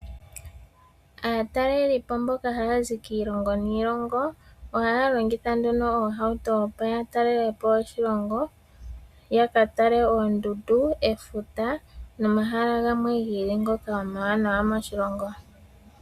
Aatalelipo mboka haya zi kiilongo niilongo ohaya longitha nduno oohauto opo ya talelepo oshilongo yaka tale oondundu, efuta nomahala gamwe gi ili ngoka omawanawa moshilongo.